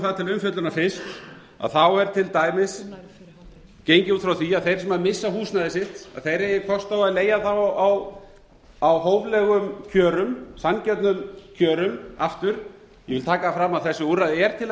það til umfjöllunar fyrst þá er til dæmis gengið út frá því að þeir sem missa húsnæði sitt þeir eigi kost á því að leigja það á hóflegum kjörum sanngjörnum kjörum aftur ég vil taka það fram að þessu úrræði er til að